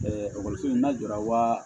ekɔliso in na jɔyɔrɔ